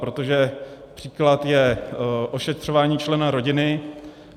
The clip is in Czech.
Protože příklad je ošetřování člena rodiny.